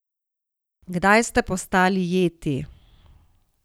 Kdaj ste postali Jeti?